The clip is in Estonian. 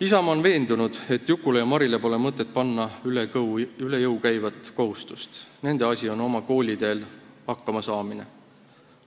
Isamaa on veendunud, et Jukule ja Marile pole mõtet panna üle jõu käivat kohustust, nende asi on oma kooliteel hakkama saada,